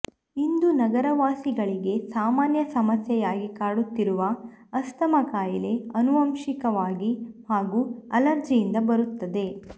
ಇಂದು ನಗರವಾಸಿಗಳಿಗೆ ಸಾಮಾನ್ಯ ಸಮಸ್ಯೆ ಯಾಗಿ ಕಾಡುತ್ತಿರುವ ಅಸ್ತಮಾ ಕಾಯಿಲೆ ಅನುವಂಶಿಕವಾಗಿ ಹಾಗೂ ಅಲರ್ಜಿ ಯಿಂದ ಬರುತ್ತದೆ